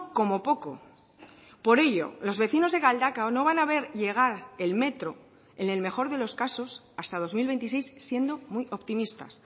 como poco por ello los vecinos de galdakao no van a ver llegar el metro en el mejor de los casos hasta dos mil veintiséis siendo muy optimistas